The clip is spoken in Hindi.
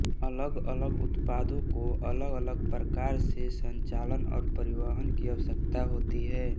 अलग अलग उत्पादों को अलगअलग प्रकार के संचालन और परिवहन की आवश्यकता होती है